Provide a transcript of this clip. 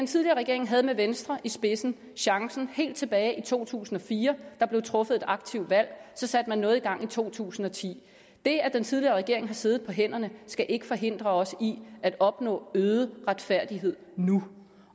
tidligere regering havde med venstre i spidsen chancen helt tilbage i to tusind og fire der blev truffet et aktivt valg og så satte man noget i gang i to tusind og ti det at den tidligere regering har siddet på hænderne skal ikke forhindre os i at opnå øget retfærdighed nu